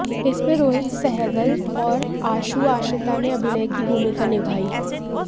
इसमें रोहित सहगल और आशु आश्रिता ने अभिनय की भूमिका निभाई